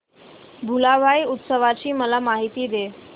भुलाबाई उत्सवाची मला माहिती दे